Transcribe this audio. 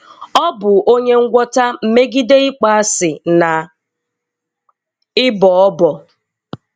Ọ̀ bụ́ Onyè Ngwọ̀tà megidè ị̀kpọ̀asị̀ na ị̀bọ̀ ọ̀bọ̀